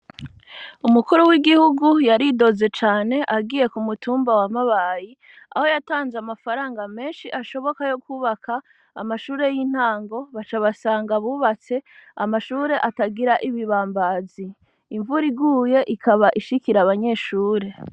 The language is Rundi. Umukuru w’igihugu, yaridoze cane, agiye ku mutumba wa Mabayi; aho yatanze, amafaranga menshi, ashoboka, yo kwubaka, amashure y’intango; baca basanga bubatse, amashure atagira ibibambazi; imvura iguye, ikaba ishikira abanyeshure.